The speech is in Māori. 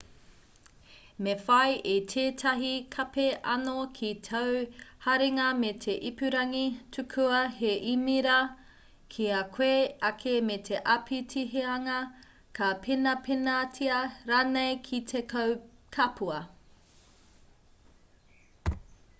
me whai i tētahi kape anō ki tāu haringa me te ipurangi tukua he īmera ki a koe ake me te āpitihanga ka penapenatia rānei ki te kapua